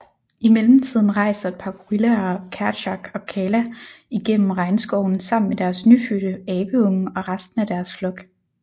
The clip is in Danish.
Imellemtiden rejser et par gorillaer Kerchak og Kala igennem regnskoven sammen med deres nyfødte abeunge og resten af deres flok